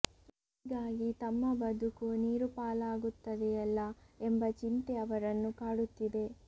ಹೀಗಾಗಿ ತಮ್ಮ ಬದುಕು ನೀರು ಪಾಲಾಗುತ್ತದೆಯಲ್ಲ ಎಂಬ ಚಿಂತೆ ಅವರನ್ನು ಕಾಡುತ್ತಿದೆ